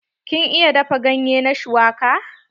Kin iya dafa ganye na shuwaka?